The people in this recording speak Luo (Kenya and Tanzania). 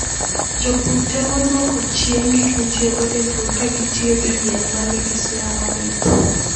Jopur temo dwoko chien gik mitiyogo e pur ka gitiyo gi yien ma nigi suya mamit.